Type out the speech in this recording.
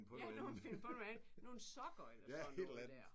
Ja nu må man finde på noget andet. Nogle sokker eller sådan noget der